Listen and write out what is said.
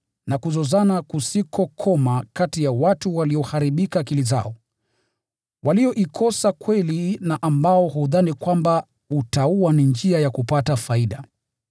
na kuzozana kusikokoma kati ya watu walioharibika akili zao, walioikosa kweli, na ambao hudhani kwamba utauwa ni njia ya kupata faida.